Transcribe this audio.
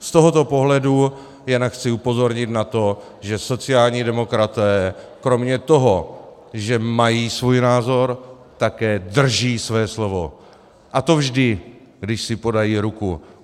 Z tohoto pohledu jen chci upozornit na to, že sociální demokraté kromě toho, že mají svůj názor, také drží své slovo, a to vždy, když si podají ruku.